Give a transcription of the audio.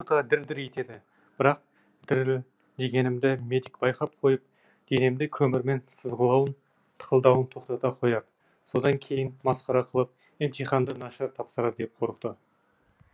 анюта дір дір етеді бірақ дірілдегенімді медик байқап қойып денемді көмірмен сызғылауын тықылдатуын тоқтата қояр содан кейін масқара қылып емтиханды нашар тапсырар деп қорықты